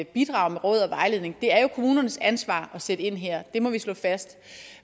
bidrage med råd og vejledning det er jo kommunernes ansvar at sætte ind her det må vi slå fast